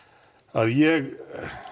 að ég